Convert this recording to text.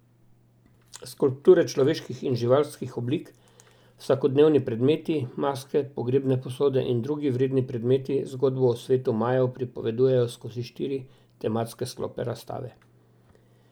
Skulpture človeških in živalskih oblik, vsakodnevni predmeti, maske, pogrebne posode in drugi vredni predmeti zgodbo o svetu Majev pripovedujejo skozi štiri tematske sklope razstave.